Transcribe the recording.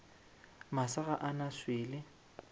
masa ga a na swele